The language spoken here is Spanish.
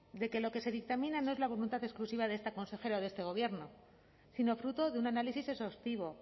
de que lo que se dictamina no es la voluntad exclusiva de esta consejera de este gobierno sino fruto de un análisis exhaustivo